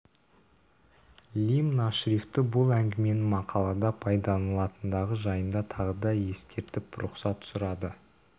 лимн ашрифті бұл әңгіменің мақалада пайдаланылатындығы жайында тағы да ескертіп рұқсат сұрады